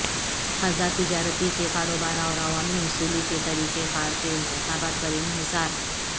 خردہ تجارتی کے کاروبار اور عوامی حصولی کے طریقہ کار کے انتخاب پر انحصار